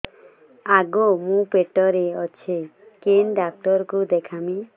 ଆଗୋ ମୁଁ ପେଟରେ ଅଛେ କେନ୍ ଡାକ୍ତର କୁ ଦେଖାମି